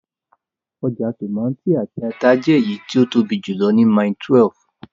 Ọjà tòmátì àti ata jẹ́ èyí tí ó tóbi jùlọ ní Mile 12